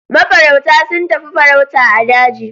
Mafarauta sun tafi farauta a daji.